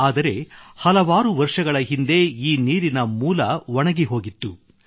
ಆದರೆ ಹಲವಾರು ವರ್ಷಗಳ ಹಿಂದೆ ಈ ನೀರಿನ ಮೂಲ ಒಣಗಿಹೋಗಿತ್ತು